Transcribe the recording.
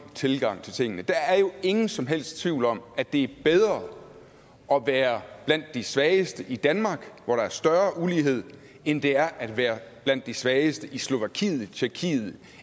tilgang til tingene der er jo ingen som helst tvivl om at det er bedre at være blandt de svageste i danmark hvor der er større ulighed end det er at være blandt de svageste i slovakiet tjekkiet